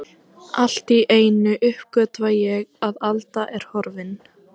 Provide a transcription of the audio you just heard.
Allt í einu uppgötva ég að Alda er horfin.